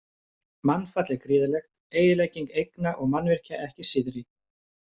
Mannfall er gríðarlegt, eyðilegging eigna og mannvirkja ekki síðri.